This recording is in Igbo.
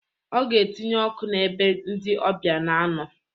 Ọga etinye ọkụ n'ebe ndi ọbịa na-anọ